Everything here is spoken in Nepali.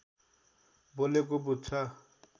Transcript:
बोलेको बुझ्छ